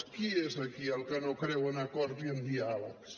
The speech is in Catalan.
qui és aquí el que no creu en acords i en diàlegs